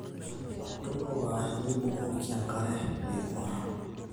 tunuka nibukoki enkare niing'or